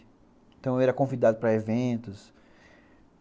Então, eu era convidado para eventos.